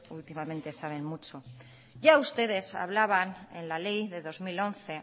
últimamente ustedes saben mucho ya ustedes hablaban en la ley de dos mil once